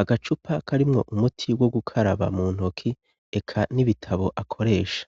agacupa karimwo umuti wo gukaraba mu ntoki, eka n'ibitabo akoresha.